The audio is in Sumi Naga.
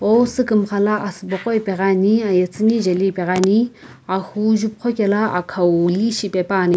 ow sukumxa la asubo qo ipeghi ani aye tsuni jeli ipeghiani ahuu jupuqho kela aqhau li shipepuani.